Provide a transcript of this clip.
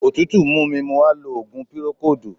Òtútù mú mi mo wá lo òògùn pírókóòdù.